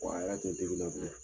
Wa a yɛrɛ te